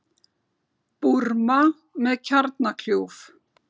Búrma með kjarnakljúf